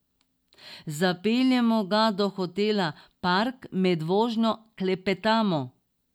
Zapeljemo ga do hotela Park, med vožnjo klepetamo.